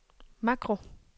makro